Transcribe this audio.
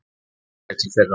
Við aldrei til þeirra.